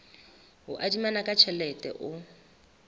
o adimanang ka tjhelete o